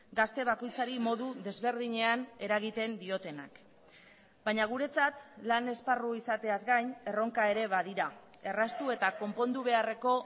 gazte bakoitzari modu desberdinean eragiten diotenak baina guretzat lan esparru izateaz gain erronka ere badira erraztu eta konpondu beharreko